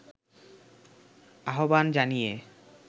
আহ্বান জানিয়ে